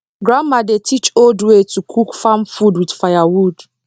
grandma dey teach old way to cook farm food with firewood